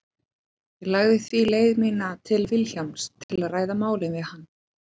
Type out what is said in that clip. Ég lagði því leið mína til Vilhjálms til að ræða málið við hann.